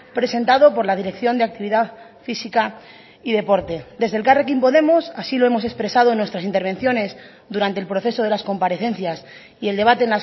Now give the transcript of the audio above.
presentado por la dirección de actividad física y deporte desde elkarrekin podemos así lo hemos expresado en nuestras intervenciones durante el proceso de las comparecencias y el debate